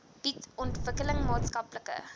bied ontwikkeling maatskaplike